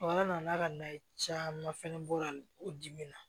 Wala nana ka na caman fɛnɛ bɔ a la o dimi na